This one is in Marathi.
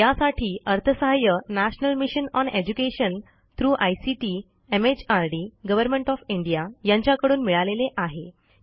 यासाठी अर्थसहाय्य national mission on education through ICT MHRD government of India यांच्याकडून मिळालेले आहे